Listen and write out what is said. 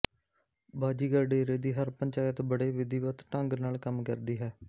ਬਾਜ਼ੀਗਰ ਡੇਰੇ ਦੀ ਹਰ ਇਕ ਪੰਚਾਇਤ ਬੜੇ ਵਿਧੀਵਤ ਢੰਗ ਨਾਲ ਕੰਮ ਕਰਦੀ ਹੈ